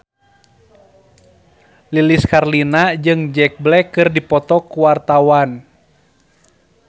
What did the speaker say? Lilis Karlina jeung Jack Black keur dipoto ku wartawan